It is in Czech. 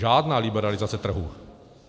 Žádná liberalizace trhu.